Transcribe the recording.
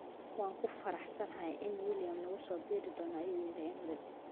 Waan ku faraxsanahay in Williama nagu soo biiri doono ayuu yiri Emery.